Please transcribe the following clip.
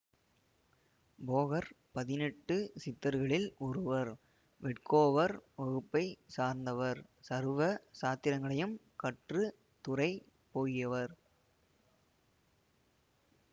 போகர் பதினெட்டு சித்தர்களில் ஒருவர் வேட்கோவர் வகுப்பை சார்ந்தவர் சர்வ சாத்திரங்களையும் கற்று துறை போகியவர்